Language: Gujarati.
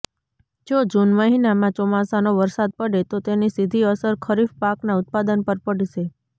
જો જૂન મહિનામાં ચોમાસાનો વરસાદ પડે તો તેની સીધી અસર ખરીફ પાકના ઉત્પાદન પર પડશે